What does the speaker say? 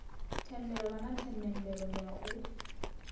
tendelwaho na themendelo ya u